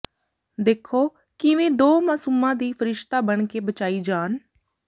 ਦੇਖੋ ਕਿਵੇਂ ਦੋ ਮਾਸੂਮਾਂ ਦੀ ਫਰਿਸ਼ਤਾ ਬਣ ਕੇ ਬਚਾਈ ਜਾਨ